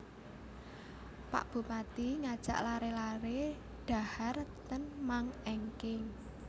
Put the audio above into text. Pak Bupati ngajak lare lare dhahar ten Mang Engking